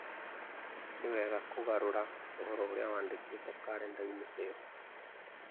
Nĩ wega kũgarũra ũhoro ũrĩa wandĩkĩtwo kalenda-inĩ ĩyo